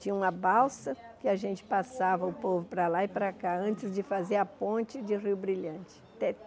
Tinha uma balsa que a gente passava o povo para lá e para cá antes de fazer a ponte de Rio Brilhante.